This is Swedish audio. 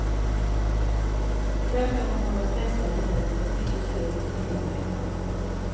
Tvärtom har de flesta de mött fått mycket stöd och hjälp hemma.